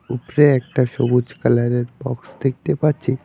উপরে একটা সবুজ কালারের বক্স দেখতে পাচ্ছি।